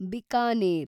Bikaner